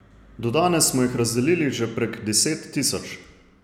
Do danes smo jih razdelili že prek deset tisoč.